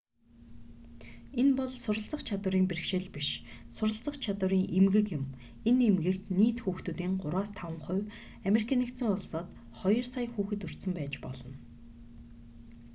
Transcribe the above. энэ бол суралцах чадварын бэрхшээл биш суралцах чадварын эмгэг юм энэ эмгэгт нийт хүүхдүүдийн 3-5 хувь ану-д хоёр сая хүүхэд өртсөн байж болно